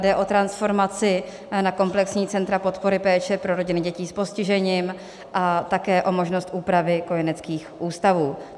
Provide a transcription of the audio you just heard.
Jde o transformaci na komplexní centra podpory péče pro rodiny dětí s postižením a také o možnost úpravy kojeneckých ústavů.